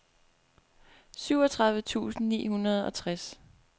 syvogtredive tusind ni hundrede og tres